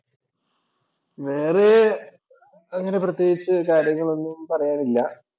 വേറെ അങ്ങനെ പ്രത്യേകിച്ച് കാര്യങ്ങൾ ഒന്നും പറയാനില്ല.